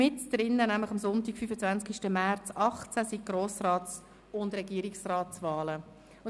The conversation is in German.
Mitten drin, am Sonntag, 25. März 2018, finden Grossrats- und Regierungsratswahlen statt.